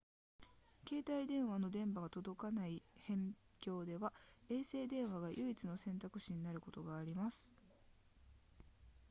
携帯電話の電波が届かない辺境では衛星電話が唯一の選択肢になることがあります